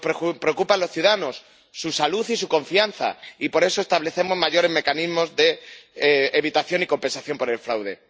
Nos preocupan los ciudadanos, su salud y su confianza y, por eso, establecemos mayores mecanismos de evitación y compensación del fraude.